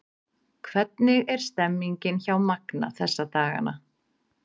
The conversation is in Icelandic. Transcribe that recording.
Hvernig er stemningin hjá Magna þessa dagana?